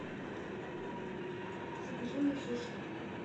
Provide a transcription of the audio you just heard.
закажи мне суши